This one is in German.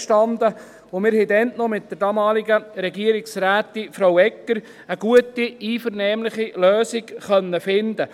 Wir haben dann mit der damaligen Regierungsrätin Frau Egger eine gute, einvernehmliche Lösung finden können.